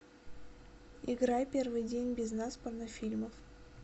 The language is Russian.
играй первый день без нас порнофильмов